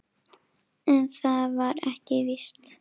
En það var ekki víst.